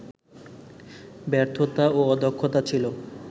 ব্যর্থতা ও অদক্ষতা ছিল